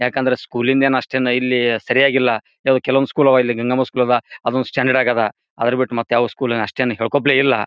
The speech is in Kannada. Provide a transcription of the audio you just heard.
ಯಾಕಂದ್ರೆ ಸ್ಕೂಲಿಂದೆ ನ್ ಅಷ್ಟೇನು ಇಲ್ಲಿ ಸರಿಯಾಗಿಲ್ಲ ಕೆಲವೊಂದು ಕೆಲವು ಸ್ಕೂಲ್ ಗಂಗಮ್ಮ ಸ್ಕೂಲ್ ಅದ ಅದೊಂದ್ ಸ್ಟ್ಯಾಂಡರ್ಡ್ ಆಗ್ಯಾದ ಅದ್ರ್ ಬಿಟ್ ಮತ್ಯಾವದ್ ಸ್ಕೂಲ್ ಆಸ್ಟನ್ ಹೇಳಕೊಳಪ್ಲೆ ಇಲ್ಲ.